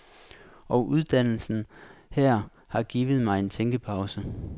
Og uddannelsen her har givet mig en tænkepause.